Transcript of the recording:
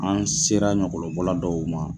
An sera ɲɔkɔlɔbɔla dɔw ma